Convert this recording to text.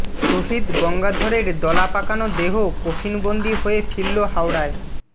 শহিদ গঙ্গাধরের দলা পাকানো দেহ কফিনবন্দি হয়ে ফিরল হাওড়ায়